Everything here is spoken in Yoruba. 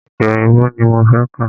Èdè òyìnbó ní mo fẹ́ kà.